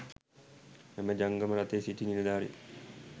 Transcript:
එම ජංගම රථයේ සිටි නිලධාරීන්